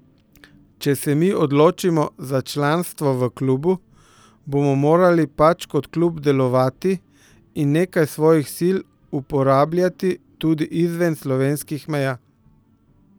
Če se mi odločimo za članstvo v klubu, bomo morali pač kot klub delovati in nekaj svojih sil uporabljati tudi izven slovenskih meja.